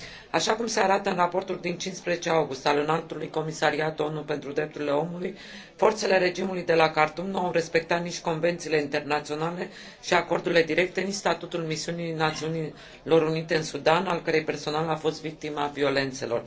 Așa cum se arată în raportul din 15 august al Înaltului Comisariat ONU pentru Drepturile Omului, forțele regimului de la Khartoum nu au respectat nici convențiile internaționale și acordurile directe, nici statutul Misiunii Națiunilor Unite în Sudan, al cărei personal a fost victima violențelor.